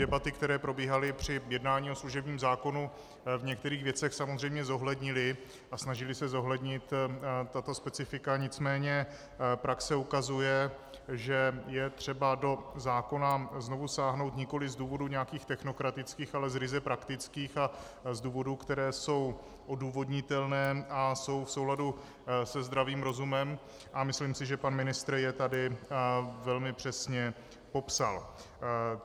Debaty, které probíhaly při jednání o služebním zákonu, v některých věcech samozřejmě zohlednily a snažily se zohlednit tato specifika, nicméně praxe ukazuje, že je třeba do zákona znovu sáhnout nikoliv z důvodů nějakých technokratických, ale z ryze praktických a z důvodů, které jsou odůvodnitelné a jsou v souladu se zdravým rozumem, a myslím si, že pan ministr je tady velmi přesně popsal.